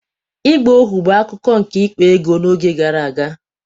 ịgba ohu bụ akụkụ nke ịkpa ego n'oge gara aga